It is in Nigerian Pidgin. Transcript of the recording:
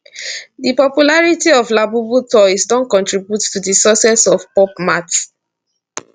di popularity of labubu toys don contribute to di success of pop mart